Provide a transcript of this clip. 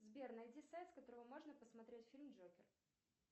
сбер найди сайт с которого можно посмотреть фильм джокер